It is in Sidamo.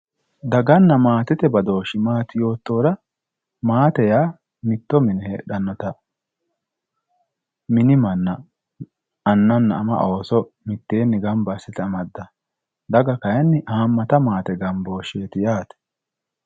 Daganna maatete badooshi maati yoottohura maate yaa mitto mine heedhanotta mini manna annana ama ooso mitteenni gamba assite amadanotta daga kayinni hamatta maate gambosheti yaate.